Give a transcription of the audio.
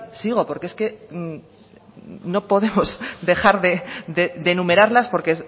sigo porque es que no podemos dejar de enumerarlas porque